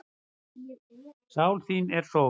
Sál þín er sól.